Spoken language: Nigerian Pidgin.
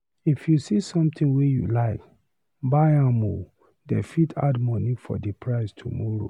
If you see sometin wey you like, buy am o, dey fit add moni for di price tomorrow.